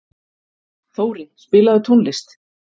Þóri, spilaðu tónlist.